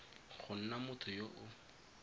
go na motho yo o